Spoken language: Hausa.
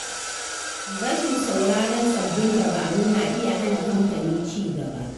Rashin sauraron sabbin dabaru na iya hana kamfani ci gaba.